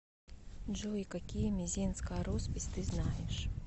джой какие мезеньская роспись ты знаешь